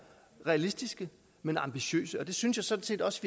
realistiske men ambitiøse og det synes jeg sådan set også